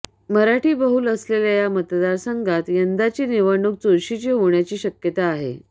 मराठीबहुल असलेल्या या मतदारसंघात यंदाची निवडणूक चुरशीची होण्याची शक्यता आहे